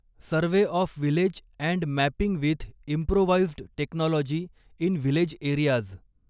survey of village and mapping with improvised technology in village areas